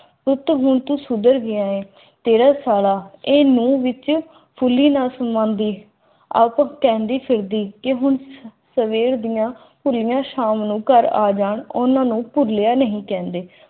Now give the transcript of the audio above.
ਪੁੱਤ ਹੁਣ ਕਿੱਧਰ ਗਿਐ ਤੇਰਾ ਸਾਰਾ ਇਹ ਮੂੰਹ ਵਿਚ ਫੁੱਲੀ ਨਾ ਸਮਾਉਂਦੀ ਸਵੇਰ ਦੀਆਂ ਖੁੱਲ੍ਹੀਆਂ ਸ਼ਾਮ ਨੂੰ ਘਰ ਆ ਜਾਵੇ ਉਨ੍ਹਾਂ ਨੂੰ ਭੁੱਲਿਆ ਨਹੀਂ ਕਹਿੰਦੇ